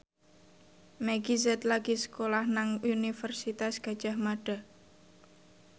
Meggie Z lagi sekolah nang Universitas Gadjah Mada